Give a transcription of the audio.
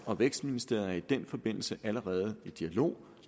og vækstministeriet er i den forbindelse allerede i dialog